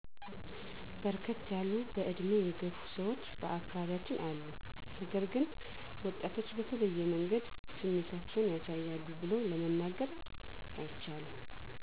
በርከት ያሉ በዕድሜ የገፉ ሰዎች በአካባቢያችን አሉ ነገር ግን ወጣቶች በተለየ መንገድ ስሜታቸውን ያሳያሉ ቡሎ ለመናገር አይቻልም።